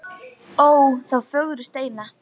Ó þá fögru steina.